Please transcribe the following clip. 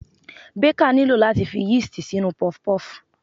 Baker nílò láti fi yeast sínú puff-puff.